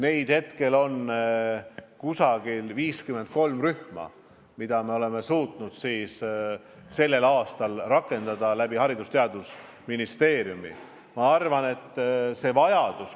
Praegu on umbes 53 rühma, kus me oleme suutnud sellel aastal Haridus- ja Teadusministeeriumi kaudu seda rakendada.